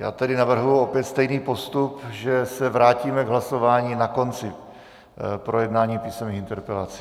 Já tedy navrhuji opět stejný postup, že se vrátíme k hlasování na konci projednání písemných interpelací.